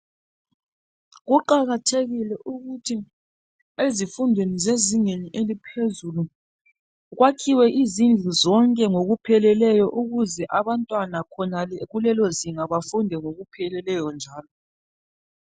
Kuqakathekile ukuthi ezifundweni zezingeni eliphezulu kwakhiwe izindlu zonke ngokupheleleyo ukuze abantwana khonale kulelozinga bafunde ngokupheleleyo njalo.